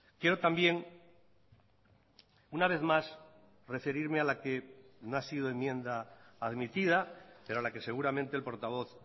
quiero también una vez más referirme a la que no ha sido enmienda admitida pero a la que seguramente el portavoz